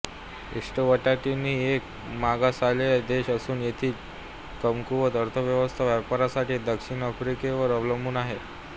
Eswatini एक मागासलेला देश असून येथील कमकुवत अर्थव्यवस्था व्यापारासाठी दक्षिण आफ्रिकेवर अवलंबून आहे